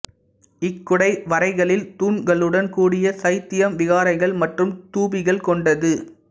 இக்குடைவரைகளில் தூண்களுடன் கூடிய சைத்தியம் விகாரைகள் மற்றும் தூபிகள் கொண்டது